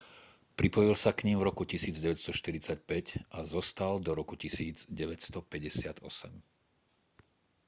pripojil sa k nim v roku 1945 a zostal do roku 1958